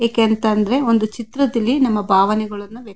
ಏಕಾಂತ ಅಂದ್ರೆ ಒಂದು ಚಿತ್ರದಲ್ಲಿ ನಮ್ಮ ಬಾವನೆಗಳ್ಳನ್ನ --